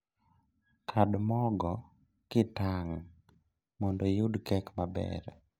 Kand mogo kitang' mondo iyud kek maber